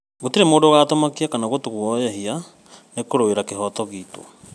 Gũtirĩ mũndũ ũgũtũmakia kana gũtũguoyohia nĩkũrũĩra kĩhoto giitũ